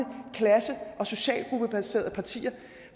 klasse og socialgruppebaserede partier